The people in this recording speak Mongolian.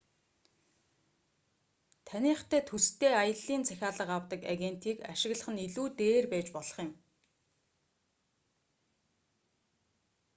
таныхтай төстэй аяллын захиалга авдаг агентийг ашиглах нь илүү дээр байж болох юм